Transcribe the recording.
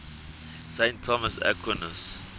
saint thomas aquinas